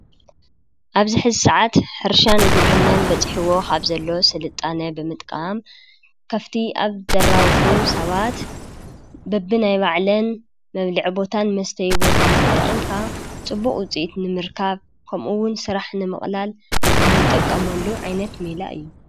ኣብዚ ሕዚ ሰዓት ሕርሻን ግብርናን በፅሒዎ ካብ ዘሎ ስልጣነ ብምጥቃም ከፍቲ ኣብ ዘራብሑ ሰባት በቢናይ ባዕለን መብልዕን ቦታን መስተይ ቦታን ተጠቂምካ ፅቡቅ ውፅኢት ንምርካብ ከምኡ እውን ስራሕ ንምቅላል እንጥቀመሉ ዓይነት ሜላ እዩ፡፡